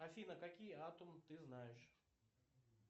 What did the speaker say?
афина какие атомы ты знаешь